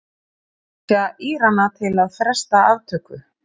Hvetja Írana til að fresta aftöku